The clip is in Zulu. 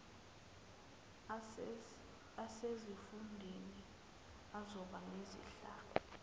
asesifundeni azoba nezihlalo